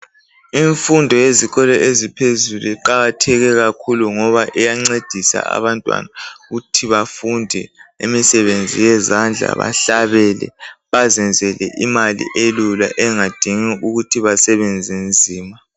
Imfundo yezikolo eziphezulu iqakatheke kakhulu ngoba iyancedisa abantwana ukuthi bafunde imisebenzi yezandla bahlabele bazenzele imali elula engadingi ukuthi basebenze nzima.